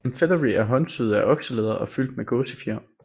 En featherie er håndsyet af okselæder og fyldt med gåsefjer